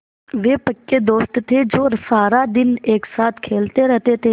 वे पक्के दोस्त थे जो सारा दिन एक साथ खेलते रहते थे